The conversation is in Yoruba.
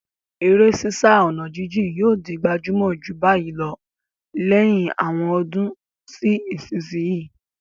Eré sísá ọ̀nà jíjìn yóò di gbajúmọ̀ jù báyìí lọ lẹ́yìn àwọn ọdún sí ìsinsìnyí.